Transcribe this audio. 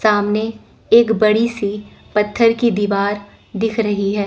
सामने एक बड़ी सी पत्थर की दीवार दिख रही है।